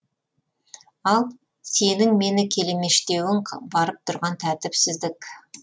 ал сенің мені келемештеуің барып тұрған тәртіпсіздік